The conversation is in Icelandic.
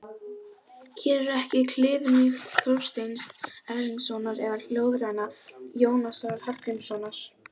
Hér er ekki kliðmýkt Þorsteins Erlingssonar eða ljóðræna Jónasar Hallgrímssonar.